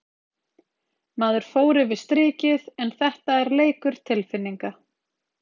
Maður fór yfir strikið en þetta er leikur tilfinninga.